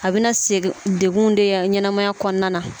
A bɛna degun de ye ɲɛnɛmaya kɔnɔna na.